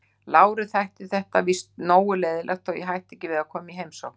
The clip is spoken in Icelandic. Láru þætti þetta víst nógu leiðinlegt þótt ég hætti ekki við að koma í heimsókn.